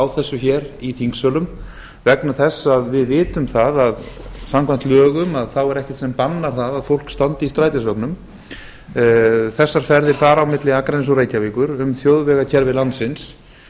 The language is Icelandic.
þessu í þingsölum vegna þess að við vitum það að samkvæmt lögum er ekkert sem bannar það að fólk standi í strætisvögnum þessar ferðir fara á milli akraness og reykjavíkur um þjóðvegakerfi landsins